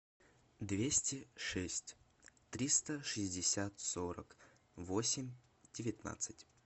двести шесть триста шестьдесят сорок восемь девятнадцать